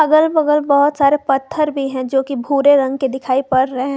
अगल बगल बहुत सारे पत्थर भी हैं जो कि भूरे रंग के दिखाई पड़ रहे हैं।